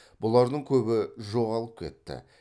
бұлардың көбі жоғалып кетті